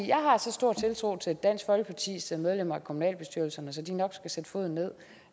at jeg har så stor tiltro til dansk folkepartis medlemmer af kommunalbestyrelserne at de nok skal sætte foden ned